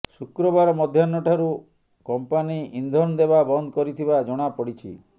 ଶୁକ୍ରବାର ମଧ୍ୟାହ୍ନଠାରୁ କମ୍ପାନୀ ଇନ୍ଧନ ଦେବା ବନ୍ଦ କରିଥିବା ଜଣା ପଡ଼ିଛି